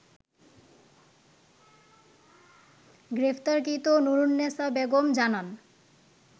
গ্রেপ্তারকৃত নূরুন্নেসা বেগম জানান